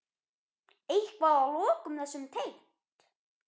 Eitthvað að lokum þessu tengt?